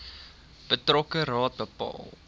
betrokke raad bepaal